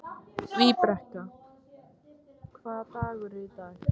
Víbekka, hvaða dagur er í dag?